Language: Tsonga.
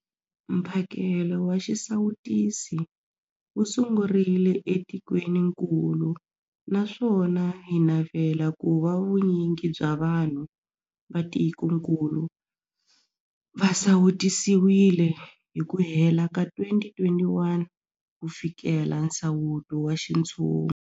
Mphakelo wa xisawutisi wu sungurile etikwenikulu naswona hi navela ku va vu nyingi bya vanhu va tikokulu va sawutisiwile hi ku hela ka 2021 ku fikelela nsawuto wa xintshungu.